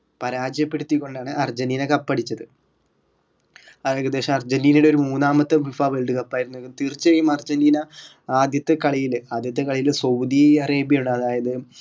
പരാജയപ്പെടുത്തിക്കൊണ്ടാണ് Argentina cup അടിച്ചത് അത് ഏകദേശം അർജന്റീനയുടെ ഒരു മൂന്നാമത്തെ FIFA world cup ആയിരുന്നു തീർച്ചയായും അർജന്റീന ആദ്യത്തെ കളിയില് ആദ്യത്തെ കളിയില് സൗദി അറേബ്യയോട് അതായത്